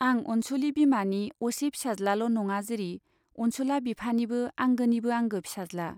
आं अनुसुली बिमानि असे फिसाज्लाल' नङा जिरि अनसुला बिफानिबो आंगोनिबो आंगो फिसाज्ला।